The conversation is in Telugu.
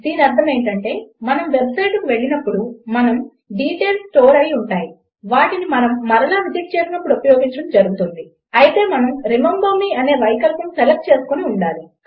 దీని అర్థం ఏమిటంటే మనం వెబ్సైట్కు వెళ్ళినపుడు మన డిటైల్స్ స్టోర్ అయ్యి ఉంటాయి వాటిని మనం మరల విజిట్ చేసినపుడు ఉపయోగించడం జరుగుతుంది అయితే మనం రిమెంబర్ మే అనే వైకల్పం సెలెక్ట్ చేసుకుని ఉండాలి